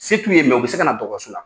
Se tu' ye u bɛ se ka na dɔgɔtɔrɔso la.